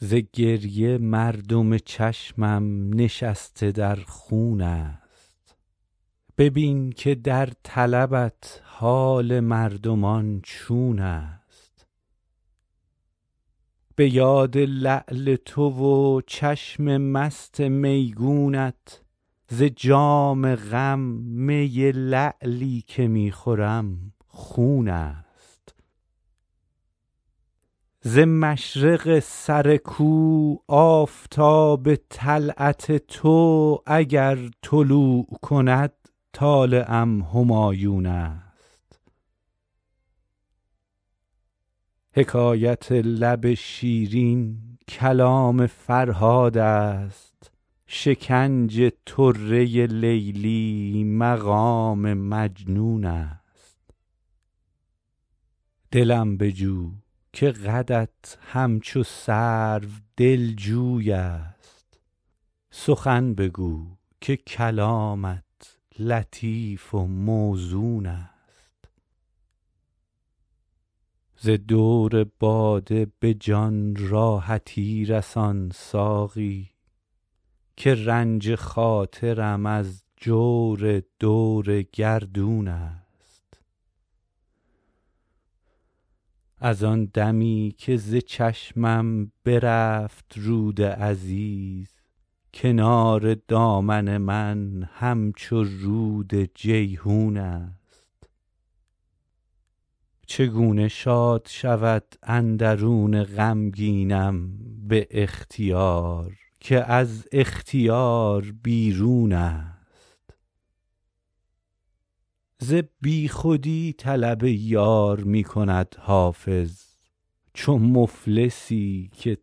ز گریه مردم چشمم نشسته در خون است ببین که در طلبت حال مردمان چون است به یاد لعل تو و چشم مست میگونت ز جام غم می لعلی که می خورم خون است ز مشرق سر کو آفتاب طلعت تو اگر طلوع کند طالعم همایون است حکایت لب شیرین کلام فرهاد است شکنج طره لیلی مقام مجنون است دلم بجو که قدت همچو سرو دلجوی است سخن بگو که کلامت لطیف و موزون است ز دور باده به جان راحتی رسان ساقی که رنج خاطرم از جور دور گردون است از آن دمی که ز چشمم برفت رود عزیز کنار دامن من همچو رود جیحون است چگونه شاد شود اندرون غمگینم به اختیار که از اختیار بیرون است ز بیخودی طلب یار می کند حافظ چو مفلسی که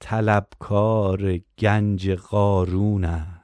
طلبکار گنج قارون است